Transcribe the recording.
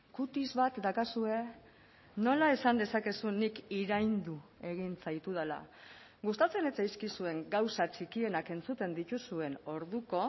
kutis bat daukazue nola esan dezakezu nik iraindu egin zaitudala gustatzen ez zaizkizuen gauza txikienak entzuten dituzuen orduko